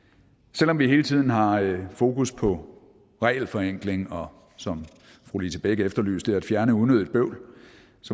selv om vi hele tiden har fokus på regelforenkling og som fru lise bech efterlyste at fjerne unødigt bøvl